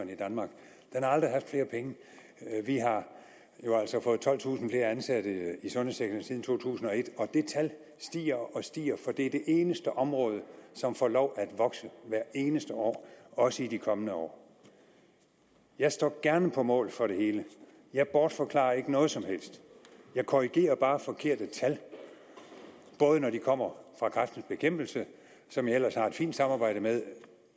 der aldrig haft flere penge vi har jo altså fået tolvtusind flere ansatte i sundhedssektoren siden to tusind og et og det tal stiger og stiger for det er det eneste område som får lov at vokse hvert eneste år også i de kommende år jeg står gerne på mål for det hele jeg bortforklarer ikke noget som helst jeg korrigerer bare forkerte tal når de kommer fra kræftens bekæmpelse som jeg ellers har et fint samarbejde med